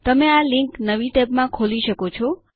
તમે આ લિંક નવી ટેબમાં ખોલી શકો છો